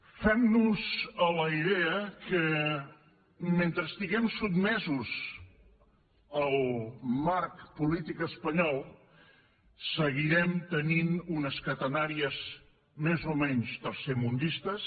fem nos a la idea que mentre estiguem sotmesos al marc polític espanyol seguirem tenint unes catenàries més o menys tercermundistes